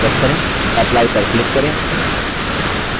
apply पर click करें ok पर click करें